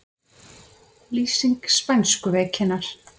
Lýsing spænsku veikinnar